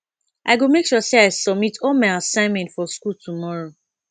i go make sure sey i submit all my assignment for skool tomorrow